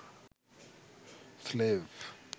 slave